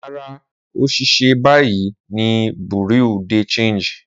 Rara, O ṣiṣẹ bayi ni bureau de Change